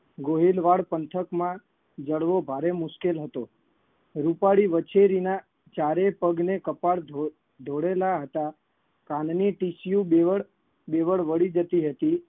ગોહિલવાડ પંથકમાં જડવો ભારે મુશ્કેલ હતો. રૂપાળી વછેરીના ચારે પગ ને કપાળ ધોળે ધોળેલાં હતા. કાનની tissue બેવડ બેવડ વળી જતી હતી